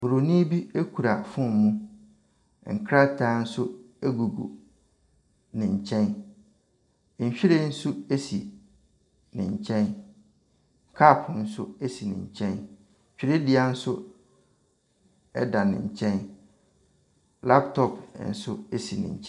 Buronin bi kura phone mu. Nkrataa nso gugu ne nkyɛn. Nhwiren nso si ne nkyɛn. Cup nso si ne nkyɛn. Twerɛdua nso da ne nkyɛn. Laptop nso si ne nky .